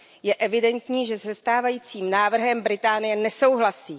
Je evidentní, že se stávajícím návrhem Velká Británie nesouhlasí.